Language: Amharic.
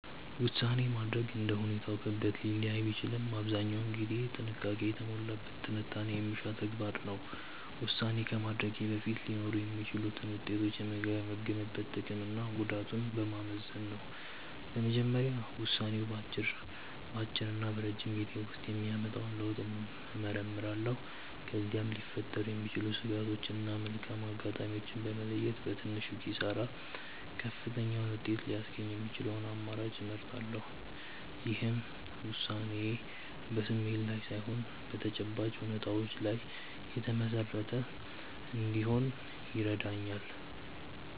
ውሳኔ ማድረግ እንደ ሁኔታው ክብደት ሊለያይ ቢችልም አብዛኛውን ጊዜ ጥንቃቄ የተሞላበት ትንታኔ የሚሻ ተግባር ነው። ውሳኔ ከማድረጌ በፊት ሊኖሩ የሚችሉትን ውጤቶች የምገመግመው ጥቅምና ጉዳቱን በማመዛዘን ነው። በመጀመሪያ ውሳኔው በአጭርና በረጅም ጊዜ ውስጥ የሚያመጣውን ለውጥ እመረምራለሁ። ከዚያም ሊፈጠሩ የሚችሉ ስጋቶችን እና መልካም አጋጣሚዎችን በመለየት፣ በትንሹ ኪሳራ ከፍተኛውን ውጤት ሊያስገኝ የሚችለውን አማራጭ እመርጣለሁ። ይህም ውሳኔዬ በስሜት ላይ ሳይሆን በተጨባጭ እውነታዎች ላይ የተመሰረተ እንዲሆን ይረዳኛል።